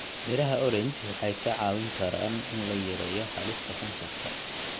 Miraha orange waxay ka caawin karaan in la yareeyo halista kansarka.